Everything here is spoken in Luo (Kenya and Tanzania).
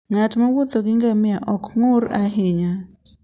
Ng'at mowuotho gi ngamia ok ong'ur ahinya.